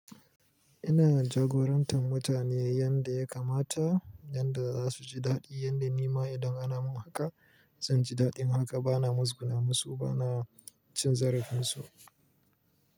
Ina jagorantar mutane yanda ya kamata, yanda za su ji daɗi, yanda nima idan ana min haka zan ji daɗi. Haka bana matsuguna musu, bana cin zarafin su.